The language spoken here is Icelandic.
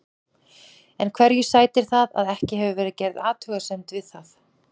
En hverju sætir það að ekki hefur verið gerð athugasemd við það að